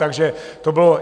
Takže to bylo...